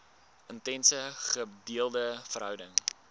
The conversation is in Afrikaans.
intense gedeelde verhouding